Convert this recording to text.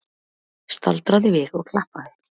Staldraði við og klappaði!